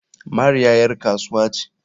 Mariya ƴar kasuwa ce.